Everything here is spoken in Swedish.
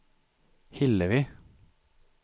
Hillevi